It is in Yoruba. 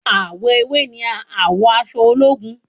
Àwọ ewé ni àwọ aṣọ ológun